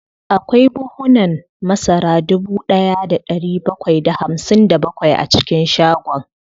Akwai buhunan masara dubu daya da dari bakwai da hamsin da bakwai a cikin shagon